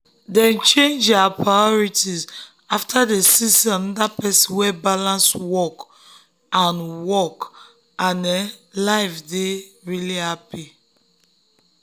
dem change their priorities after dem see say another person wey balance work and work and um life dey truly happy.